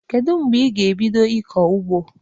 Kedu mgbe ị ga-ebido ịkọ ugbo?